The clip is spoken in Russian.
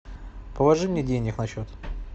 положи мне денег на счет